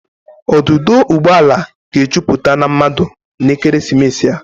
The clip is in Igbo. Ọdụdọ ụgbọ ala ga-ejupụta na mmadụ n'ekeresimesi a.